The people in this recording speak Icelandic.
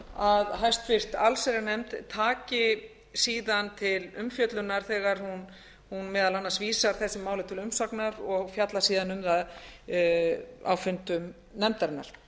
að háttvirta allsherjarnefnd taki síðan til umfjöllunar þegar hún meðal annars vísar þessu máli til umsagnar og fjallar síðan um það á fundum nefndarinnar